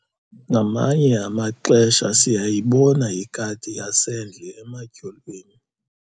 ngamanye amaxesha siyayibona ikati yasendle ematyholweni